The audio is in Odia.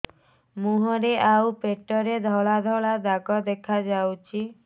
ମୁହଁରେ ଆଉ ପେଟରେ ଧଳା ଧଳା ଦାଗ ଦେଖାଯାଉଛି